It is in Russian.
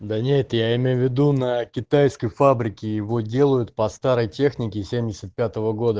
да нет я имею в виду на китайской фабрике его делают по старой технике семьдесят пятого года